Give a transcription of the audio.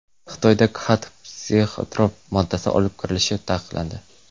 Xitoyga Khat psixotrop moddasi olib kirilishi taqiqlandi.